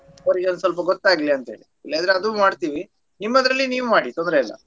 ಅವ್ರಿಗೆ ಒಂದು ಸ್ವಲ್ಪ ಗೊತಾಗ್ಲಿ ಅಂತ ಹೇಳಿ ಇಲ್ಲದ್ರೆ ಅದು ಮಾಡ್ತೀವಿ ನಿಮ್ಮದ್ರಲ್ಲಿ ನೀವು ಮಾಡಿ ತೊಂದ್ರೆಯಿಲ್ಲ.